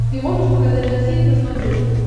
ты можешь показать россия к на смотрешке